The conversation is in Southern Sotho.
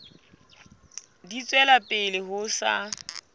di tswela pele ho sa